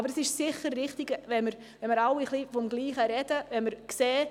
Aber es ist sicher richtig, dass wir alle vom Gleichen sprechen.